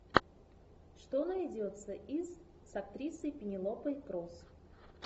что найдется из с актрисой пенелопой крус